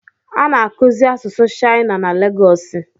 A na-akụzi asusụ shaịna na Legosi